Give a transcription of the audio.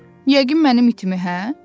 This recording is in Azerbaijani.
Yəqin mənim itimi, hə?